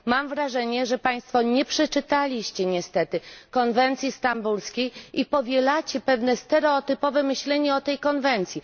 Mam wrażenie, że Państwo nie przeczytaliście niestety konwencji stambulskiej i powielacie pewne stereotypowe myślenie o tej konwencji.